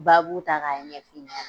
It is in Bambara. ta k'a ɲɛf'i i ɲɛna.